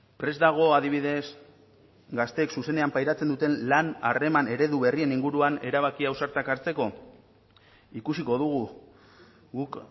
prest dago adibidez gazteek zuzenean pairatzen duten lan harreman eredu berrien inguruan erabaki ausartak hartzeko ikusiko dugu guk